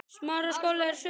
sagði Jakob.